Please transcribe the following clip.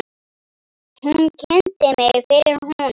Hún kynnti mig fyrir honum.